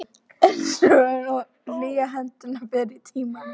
Einsog hlýjar hendurnar fyrr í tímanum.